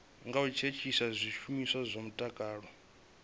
ngo thithisa zwishumiswa zwa mutakalo